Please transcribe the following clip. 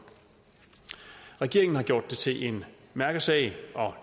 regeringen har gjort det til en mærkesag